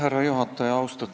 Härra juhataja!